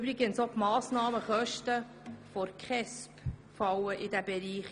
Übrigens gehören auch die Massnahmenkosten der KESB in diesen Bereich.